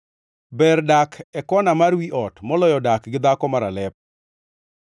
Ber dak e kona mar wi ot moloyo dak gi dhako maralep.